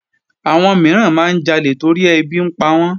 Àwọn mìíràn máa ń jalè torí ẹbí ń pawọ́n